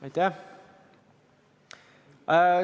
Aitäh!